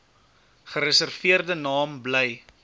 gereserveerde naam bly